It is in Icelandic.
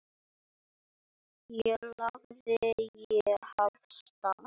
Þá lagði ég af stað.